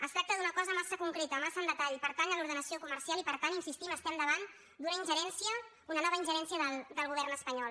es tracta d’una cosa massa concreta massa en detall pertany a l’ordenació comercial i per tant hi insistim estem davant d’una ingerència una nova ingerència del govern espanyol